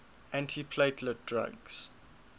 antiplatelet drugs